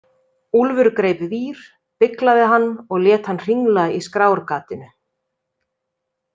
Úlfur greip vír, beyglaði hann og lét hann hringla í skrárgatinu.